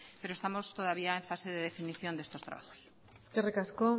pero estamos todavía en fase de definición de estos trabajos eskerrik asko